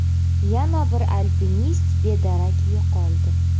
Yana bir alpinist bedarak yo‘qoldi.